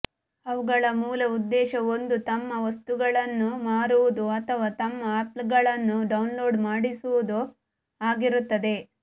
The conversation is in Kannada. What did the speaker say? ಅವುಗಳ ಮೂಲ ಉದ್ದೇಶ ಒಂದೋ ತಮ್ಮ ವಸ್ತುಗಳನ್ನು ಮಾರುವುದು ಅಥವಾ ತಮ್ಮ ಆ್ಯಪ್ಗಳನ್ನು ಡೌನ್ಲೋಡ್ ಮಾಡಿಸುವುದು ಆಗಿರುತ್ತದೆ